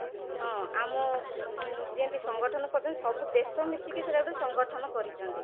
ହଁ, ଆମ ଯେମିତି ସଂଗଠନ କରୁଛନ୍ତି ସବୁ ଦେଶ ମିଶିକି ସେଟା ଗୋଟେ ସଂଗଠନ କରିଛନ୍ତି